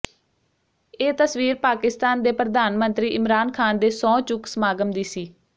ਇਹ ਤਸਵੀਰ ਪਾਕਿਸਤਾਨ ਦੇ ਪ੍ਰਧਾਨ ਮੰਤਰੀ ਇਮਰਾਨ ਖਾਨ ਦੇ ਸਹੁੰ ਚੁੱਕ ਸਮਾਗਮ ਦੀ ਸੀ